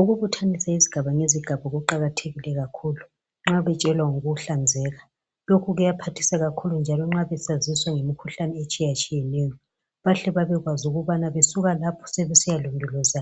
Ukubuthanisa izigaba ngezigaba kuqakathekile kakhulu nxa betshelwa ngokuhlanzeka lokhu kuyaphathisa kakhulu njalo nxa besaziswa ngemikhuhlane etshiyetshiyeneyo bahle babekwazi ukuthi besuka lapho sebesiya londoloza